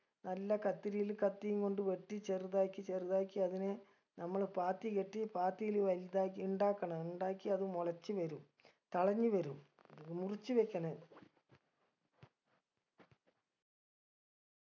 നല്ല കത്തിരീൽ കത്തിയും കൊണ്ട് വെട്ടി ചെറുതാക്കി ചെറുതാക്കി അതിനെ നമ്മള് പാത്തി കെട്ടി പാത്തീല് വലുതാക്കി ഇണ്ടാക്കണം ഇണ്ടാക്കി അത് മുളച്ച് വരും തളഞ്ഞ് വരും മുറിച്ച് വെക്കണം